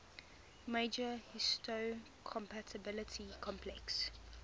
major histocompatibility complex